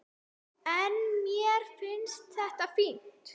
En mér finnst þetta fínt.